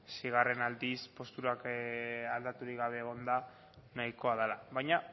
seigarren aldiz posturak aldaturik gabe egonda nahikoa dela baina